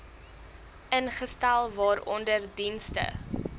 ingestel waaronder dienste